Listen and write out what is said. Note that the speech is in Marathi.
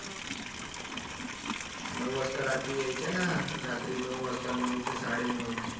नऊ वाजता रात्री यायच्या ना रात्री नऊ वाजता नऊ ते साडे नऊ